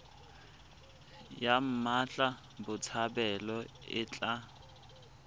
ya mmatla botshabelo e tla